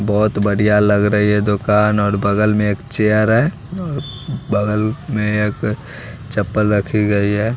बहुत बढ़िया लग रही है दुकान और बगल में एक चेयर है बगल में एक चप्पल रखी गई है।